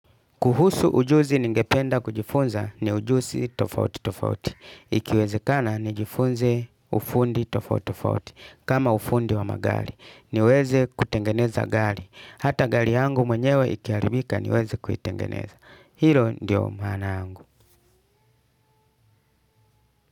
Kuhusu ujuzi ningependa kujifunza, ni ujusi tofauti tofauti. Ikiwezekana, ni jifunze, ufundi tofauti tofauti. Kama ufundi wa magari. Niweze kutengeneza gari. Hata gari yangu mwenyewe ikiaribika niweze kuitengeneza. Hilo, ndiyo maana yangu.